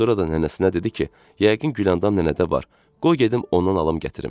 Və sonra da nənəsinə dedi ki, yəqin Güləndam nənədə var, qoy gedim ondan alım gətirim.